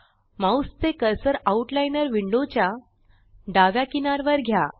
mouse चे cursor outliner window च्या डाव्या किनार वर घ्या